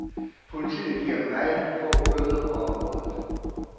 Politiet giver meget få bøder på området.